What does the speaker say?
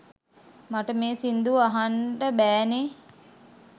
මට මේ සිංදුව අහන්ට බෑනේ